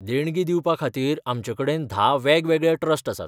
देणगी दिवपाखातीर आमचे कडेन धा वेगवेगळे ट्रस्ट आसात.